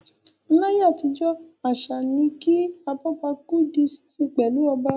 Láyé àtijọ́ àṣà ni kí "Abọ́bakú" di sísin pẹ̀lú ọba.